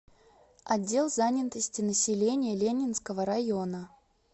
отдел занятости населения ленинского района